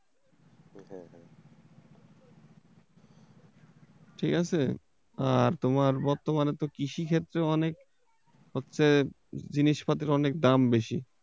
ঠিক আছে, আর তোমার বর্তমানে তো কৃষি ক্ষেত্রেও অনেক হচ্ছে জিনিসপাতির অনেক দাম বেশি।